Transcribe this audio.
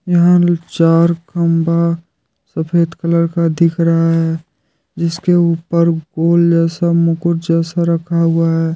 यहां चार खंभा सफेद कलर का दिख रहा है जिसके ऊपर गोल जैसा मुकुट जैसा रखा हुआ है।